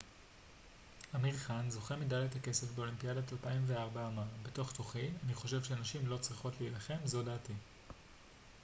אמיר חאן זוכה מדליית הכסף באולימפיאדת 2004 אמר בתוך תוכי אני חושב שנשים לא צריכות להילחם זו דעתי